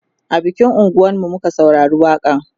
a bikin unguwan mu muka saurari waƙa n